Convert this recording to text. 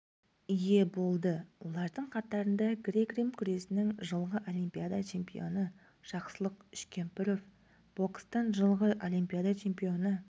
ие болды олардың қатарында грек-рим күресінің жылғы олимпиада чемпионы жақсылық үшкемпіров бокстан жылғы олимпиада чемпионы